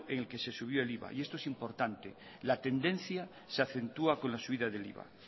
en el que se subió el iva y esto es importante la tendencia se acentúa con la subida del iva